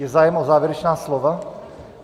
Je zájem o závěrečná slova?